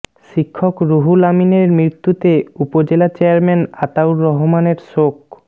শিক্ষক রুহুল আমিনের মৃত্যুতে উপজেলা চেয়ারম্যান আতাউর রহমানের শোক